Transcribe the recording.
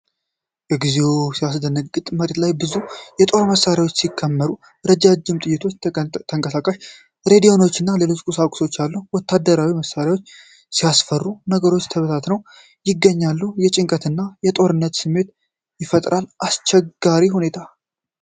እግዚኦ ሲያስደነግጥ! መሬት ላይ ብዙ የጦር መሳሪያዎች ሲከመሩ። ረጅም ጥይቶች፣ ተንቀሳቃሽ ሬዲዮዎችና ሌሎች ቁሳቁሶች ኣሉ። ወታደራዊ መሣሪያዎች ሲያስፈሩ! ነገሮቹ ተበታትነው ይገኛሉ። የጭንቀትና የጦርነት ስሜት ይፈጥራል። አስቸጋሪ ሁኔታ።